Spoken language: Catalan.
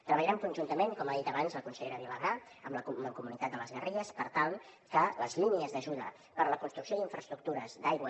treballarem conjuntament com ha dit abans la consellera vilagrà amb la mancomunitat de les garrigues per tal que les línies d’ajuda per a la construcció d’infraestructures d’aigua